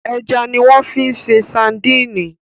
Ẹja ni wọ́n fi ń ṣe sadíìnì.